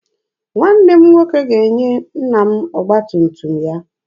Nwanne m nwoke ga-enye nna m ọgba tum tum ya.